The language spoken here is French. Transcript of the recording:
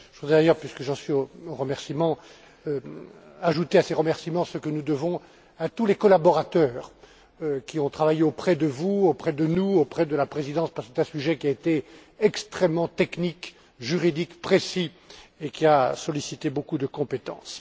Je voudrais d'ailleurs, puisque j'en suis aux remerciements, ajouter à ces remerciements ceux que nous devons à tous les collaborateurs, qui ont travaillé auprès de vous, auprès de nous, auprès de la Présidence, parce que c'est un sujet qui a été extrêmement technique, juridique, précis, et qui a sollicité beaucoup de compétences.